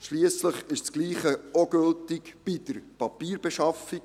Schliesslich gilt dasselbe auch bei der Papierbeschaffung.